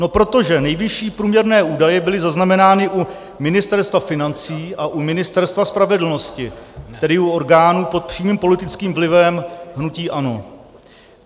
No protože nejvyšší průměrné údaje byly zaznamenány u Ministerstva financí a u Ministerstva spravedlnosti, tedy u orgánů pod přímým politickým vlivem hnutí ANO.